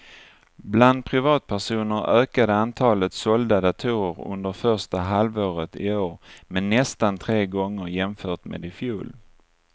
Bland privatpersoner ökade antalet sålda datorer under första halvåret i år med nästan tre gånger jämfört med i fjol.